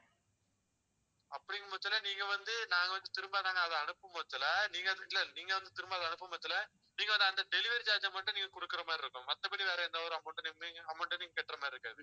அப்படிங்கும்போது நீங்க வந்து நாங்க வந்து திரும்ப நாங்க அதை அனுப்பு பட்சத்துல நீங்க வந்து இல்லை நீங்க வந்து திரும்ப அதை அனுப்பு பட்சத்துல நீங்க வந்து delivery charge அ மட்டும் நீங்க கொடுக்கிற மாதிரி இருக்கும். மத்தபடி வேற எந்த ஒரு amount அ நின்னு amount அ நீங்க கட்டுற மாதிரி இருக்காது